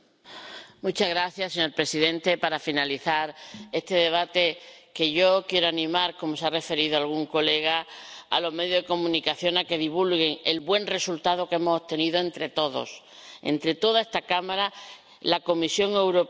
Señor presidente, para finalizar este debate, yo quiero animar, como ya ha hecho algún colega, a los medios de comunicación a que divulguen el buen resultado que hemos obtenido entre todos entre toda esta Cámara, la Comisión Europea y el Consejo.